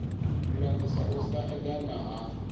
lulamisa u sa edana ha